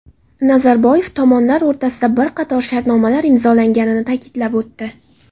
Nazarboyev tomonlar o‘rtasida bir qator shartnomalar imzolanganligini ta’kidlab o‘tdi.